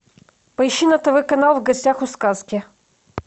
поищи на тв канал в гостях у сказки